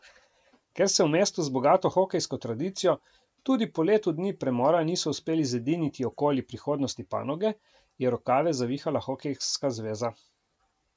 Ker se v mestu z bogato hokejsko tradicijo tudi po letu dni premora niso uspeli zediniti okoli prihodnosti panoge, je rokave zavihala hokejska zveza.